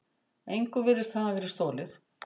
Engu virtist hafa verið stolið.